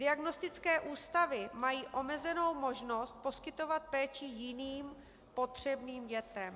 Diagnostické ústavy mají omezenou možnost poskytovat péči jiným potřebným dětem.